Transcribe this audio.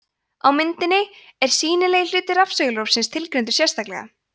á myndinni er sýnilegi hluti rafsegulrófsins tilgreindur sérstaklega